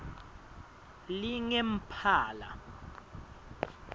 lingemphala